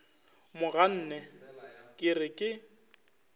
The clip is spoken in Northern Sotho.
mo ganne ke re ke